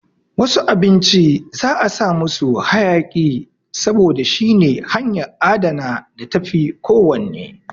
Wasu abinci za'a sa musu hayaƙi saboda shine hanyan adana da tafi ko wann